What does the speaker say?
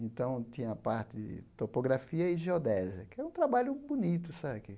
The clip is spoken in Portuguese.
Então, tinha a parte de topografia e geodésia, que é um trabalho bonito?